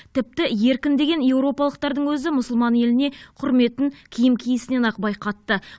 тіпті еркін деген еуропалықтардың өзі мұсылман еліне құрметін киім киісінен ақ байқатты